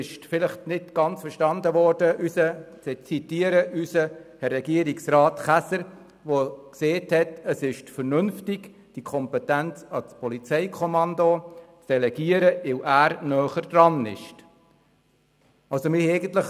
Es wurde eventuell nicht ganz verstanden, dass es gemäss Regierungsrat Käser vernünftig ist, die Kompetenz ans Polizeikommando zu delegieren, da dieses näher am Geschehen ist.